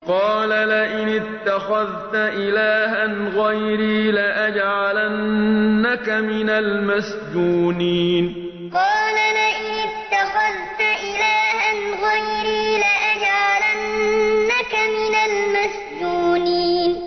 قَالَ لَئِنِ اتَّخَذْتَ إِلَٰهًا غَيْرِي لَأَجْعَلَنَّكَ مِنَ الْمَسْجُونِينَ قَالَ لَئِنِ اتَّخَذْتَ إِلَٰهًا غَيْرِي لَأَجْعَلَنَّكَ مِنَ الْمَسْجُونِينَ